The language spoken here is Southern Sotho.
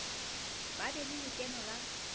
ba be le lekeno la